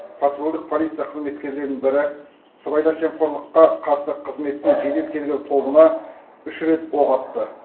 патрульдік полиция қызметкерлерінің бірі сыбайлас жемқорллыққа қарсы қызметтің жедел тергеу тобына үш рет оқ атты